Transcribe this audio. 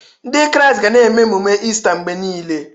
Ndị Kraịst ga na-eme ememe Ista mgbe niile.